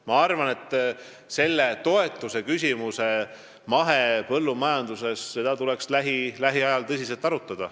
Ma arvan, et mahepõllumajanduse toetusi tuleks lähiajal tõsiselt arutada.